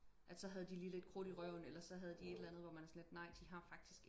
at så havde de lige lidt krudt i røven eller så havde de et eller andet hvor man er sådan lidt nej de har faktisk